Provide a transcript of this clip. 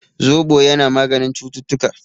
Zobo yana maganin cututtuka